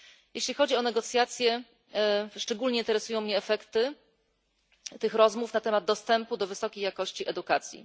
Jeśli chodzi o negocjacje, szczególnie interesują mnie efekty tych rozmów na temat dostępu do wysokiej jakości edukacji.